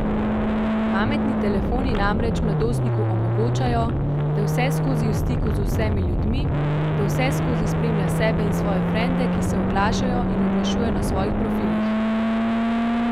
Pametni telefoni namreč mladostniku omogočajo, da je vseskozi v stiku z vsemi ljudmi, da vseskozi spremlja sebe in svoje frende, ki se oglašajo in oglašujejo na svojih profilih.